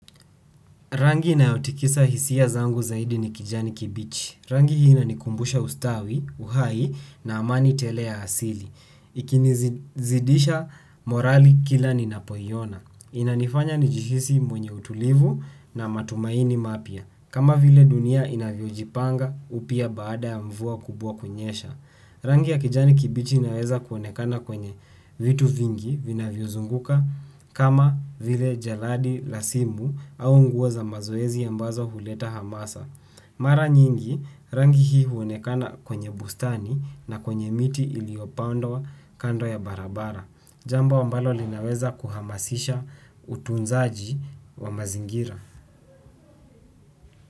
Rangi inayotikisa hisia zangu zaidi ni kijani kibichi. Rangi hii inanikumbusha ustawi, uhai na amani tele ya asili. Ikinizidisha morali kila ninapoiona. Inanifanya nijihisi mwenye utulivu na matumaini mapya. Kama vile dunia inavyojipanga upia baada ya mvua kubwa kunyesha. Rangi ya kijani kibichi inaweza kuonekana kwenye vitu vingi vinavyozunguka kama vile jalada la simu au nguo za mazoezi ambazo huleta hamasa. Mara nyingi rangi hii huonekana kwenye bustani na kwenye miti iliyopandwa kando ya barabara. Jambo ambalo linaweza kuhamasisha utunzaji wa mazingira.